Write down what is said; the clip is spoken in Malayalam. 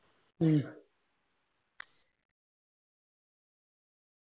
മ്മ്